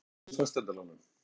Fagnar nýjum fasteignalánum